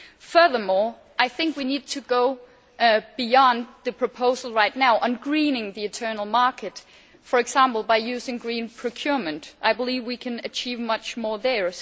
Furthermore, I think we need to go beyond the proposal right now on greening the internal market, for example, by using green procurement. I believe we can achieve much more there.